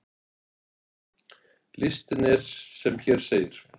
Listinn er sem hér segir: